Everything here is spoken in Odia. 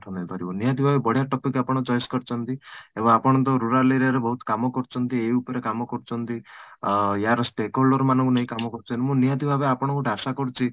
ହେଇପାରିବ ନିହାତି ଭାବେ ବଢିଆ topic ଟେ ଆପଣ choice କରିଛନ୍ତି ଏବଂ ଆପଣ ତ rural area ରେ ବହୁତ କାମ କରିଛନ୍ତି ଏଇ ଉପରେ କାମ କରୁଛନ୍ତି ଅଂ ୟାର ମାନଙ୍କୁ ନେଇ କାମ କରୁଛନ୍ତି ମୁଁ ନିହାତି ଭାବେ ଆପଣଙ୍କ ଠୁ ଆଶା କରୁଛି